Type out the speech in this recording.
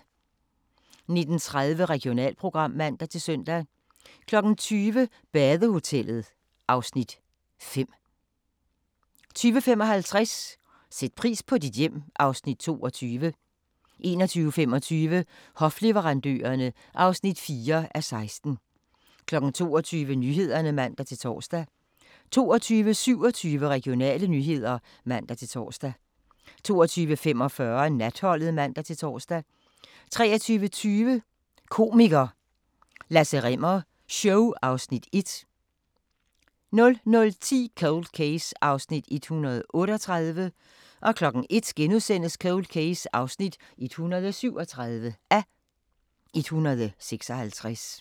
19:30: Regionalprogram (man-søn) 20:00: Badehotellet (Afs. 5) 20:55: Sæt pris på dit hjem (Afs. 22) 21:25: Hofleverandørerne (4:16) 22:00: Nyhederne (man-tor) 22:27: Regionale nyheder (man-tor) 22:45: Natholdet (man-tor) 23:20: Komiker – Lasse Rimmer show (Afs. 1) 00:10: Cold Case (138:156) 01:00: Cold Case (137:156)*